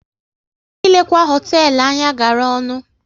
Ilekwa hoteelu anya gara ọnụ